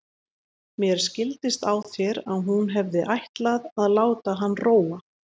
Mér skildist á þér að hún hefði ætlað að láta hann róa.